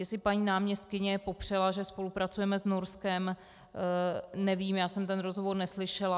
Jestli paní náměstkyně popřela, že spolupracujeme s Norskem, nevím, já jsem ten rozhovor neslyšela.